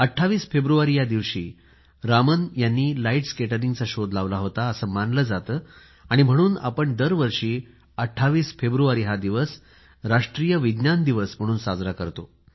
28 फेब्रुवारी या दिवशी रामन यांनी लाइट स्कॅटरिंगचा शोध लावला होता असे मानले जाते म्हणून आपण दरवर्षी 28 फेब्रुवारी हा दिवस राष्ट्रीय विज्ञान दिवस म्हणून साजरा करतो